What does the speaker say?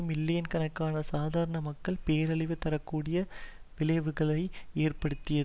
million கணக்கான சாதாரண மக்களுக்கு பேரழிவு தர கூடிய விளைவுகளை ஏற்படுத்திய